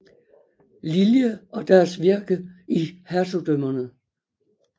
Lillie og deres virke i hertugdømmerne